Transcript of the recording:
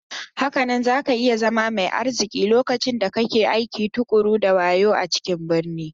Hakanan zaka iya zama mai arziki lokacin da kake aiki tuƙuru da wayo a cikin birni.